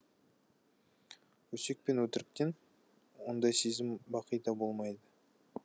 өсек пен өтіріктен ондай сезім бақида да болмайды